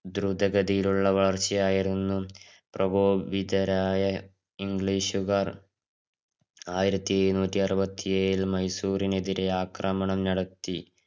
ദ്രുതകതിയിലുള്ള വളർച്ചയായിരുന്നു പ്രകോപിതാരായ english കാർ ആയിരത്തി ഇരുന്നൂറ്റി അറുപത്തി ഏഴില് മൈസൂറിനെതിരെ ആക്രമണം നടത്തി.